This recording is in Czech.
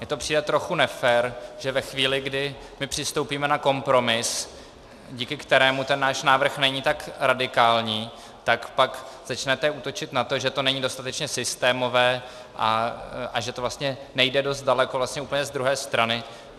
Mně to přijde trochu nefér, že ve chvíli, kdy my přistoupíme na kompromis, díky kterému ten náš návrh není tak radikální, tak pak začnete útočit na to, že to není dostatečně systémové a že to vlastně nejde dost daleko, vlastně úplně z druhé strany.